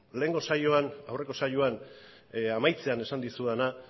lehengo saioan aurreko saioan amaitzean esan dizudana